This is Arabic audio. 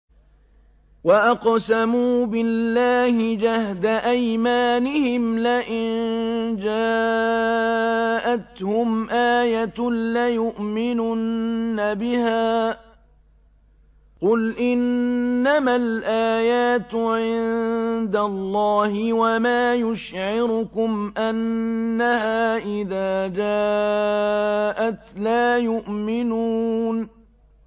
وَأَقْسَمُوا بِاللَّهِ جَهْدَ أَيْمَانِهِمْ لَئِن جَاءَتْهُمْ آيَةٌ لَّيُؤْمِنُنَّ بِهَا ۚ قُلْ إِنَّمَا الْآيَاتُ عِندَ اللَّهِ ۖ وَمَا يُشْعِرُكُمْ أَنَّهَا إِذَا جَاءَتْ لَا يُؤْمِنُونَ